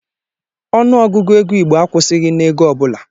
Ọnụ Ọgụgụ ego igbo akwụsịghị n'ego ọbụla.